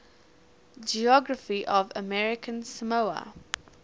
geography of american samoa